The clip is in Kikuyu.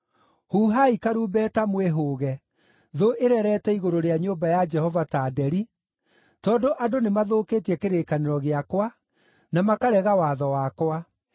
“Huhai karumbeta mwĩhũge! Thũ ĩrerete igũrũ rĩa nyũmba ya Jehova ta nderi, tondũ andũ nĩmathũkĩtie kĩrĩkanĩro gĩakwa, na makarega watho wakwa.